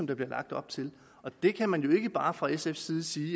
der bliver lagt op til og der kan man jo ikke bare fra sfs side sige